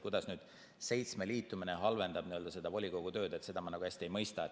Kuidas nüüd seitsme liitumine halvendab volikogu tööd, seda ma hästi ei mõista.